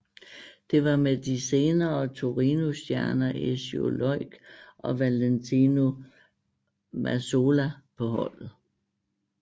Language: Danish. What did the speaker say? Det var med de senere Torinostjerner Ezio Loik og Valentino Mazzola på holdet